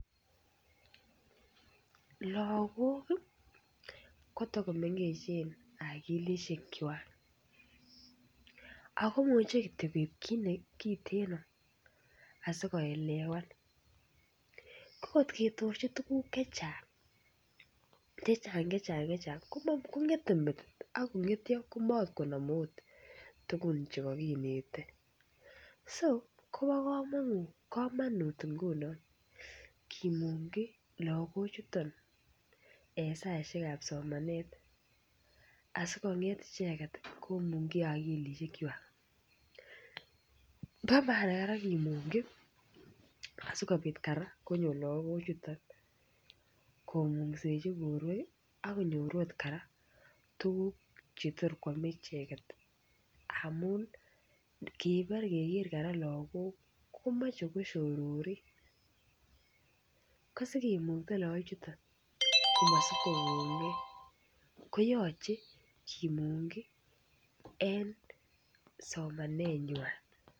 Logok kotakomengechen akilisiek kwak akomuche kityo kit kiteno asikoelewan ko kotketorchi tuguk chechang chechang chacheng kongete metit akongetyo komakoot nome tugun chekokinete so kobo komonut ngunon kimungyi logoek chuton en saisiek ab somanet asikong'et icheket komungyi akilisiek kwak bo maana kora kimungkyi asikobit kora konyor lagok chuton komungsechi borwek akonyor kora tuguk chetor koame icheket amun ngobore keker kora lagok komoche kosyororin ko sikimukta lakok chuton komosib kokongee koyoche kimungkyi en somanet nywan